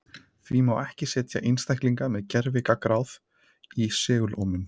Því má ekki setja einstaklinga með gervigangráð í segulómun.